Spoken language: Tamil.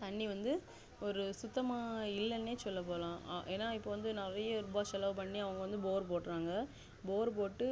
தண்ணி வந்து ஒரு சுத்தமான இல்லானே சொள்ளபோலம் ஏன்னாஇப்போ வந்து நெறைய ரூபா செலவு பண்ணி அவங்க bore போடுறாங்க bore போட்டு